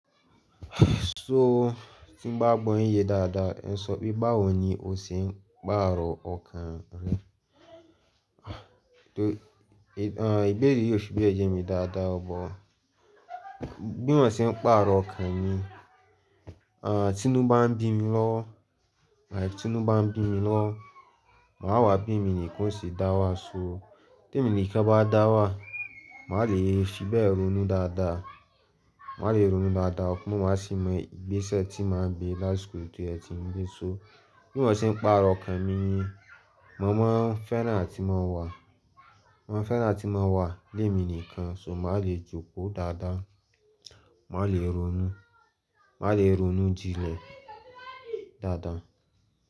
So, ti n bá gbọ́ yin ye dáadáa, ẹn sọ pé báwo ni o ṣe ń gbá àárọ̀ ọkàn rẹ. Do-- a, ìbéèrè yìí o ṣe bí ẹ ye mí dáadáa, bọ́ bí mo ṣe ń pàárọ̀ ọkàn mi, a, tinu bá ń bí mi lọ́wọ, a, tinu bá ń bí mi lọ́wọ, màá wà bí emi nìkan ó se dá wà só. Té mi nìkan bá dá wà, màá le è fíbẹ̀ ronú dáadáa, màá le ronú dáadáa, ọpọ́n màá sì mọ igbesẹ tí màá gbé lásiko to ẹ ti ń gbé. So bí mo ṣe ń pàárọ̀ ọkàn mi ni mo máa ń fẹ́ràn tí mo wà, mo máa ń fẹ́ràn tí mo wà lé mi nìkan, so màá le jókòó dáadáa, màá le ronú, màá le ronú jinlẹ̀ dáadáa.